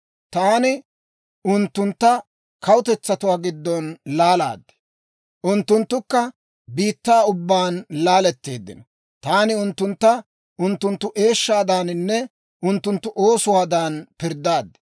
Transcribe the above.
Taani unttuntta kawutetsatuwaa giddon laalaad; unttunttukka biittaa ubbaan laaletteeddino. Taani unttuntta unttunttu eeshshaadaaninne unttunttu oosuwaadan pirddaad.